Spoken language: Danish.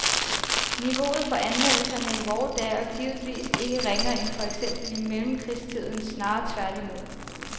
Niveauet for anmeldelserne i vore dage er givetvis ikke ringere end for eksempel i mellemkrigstiden, snarere tværtimod.